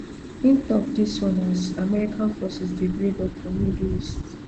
in tok dis one as american forces dey buildup for middle east